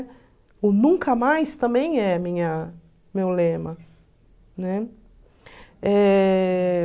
O nunca mais também é minha meu lema, né?